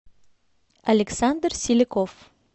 александр селяков